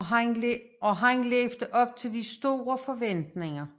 Og han levede op til de store forventninger